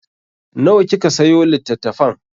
Nawa kika sayo litattafan?